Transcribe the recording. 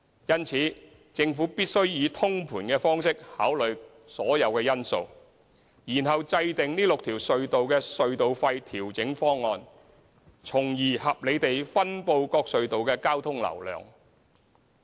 因此，政府必須以通盤方式考慮所有因素，然後制訂這6條隧道的隧道費調整方案，從而合理地分布各隧道的交通流量。